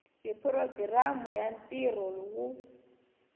hi programu ya ntirho wo